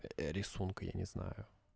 рисунка я не знаю